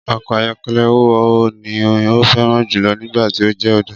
Ọkọ ayọkẹlẹ wo ni o fẹran julọ nigbati o jẹ ọdọ?